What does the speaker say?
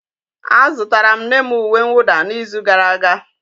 Azụtara m nne m uwe mwụda n'izu gara aga.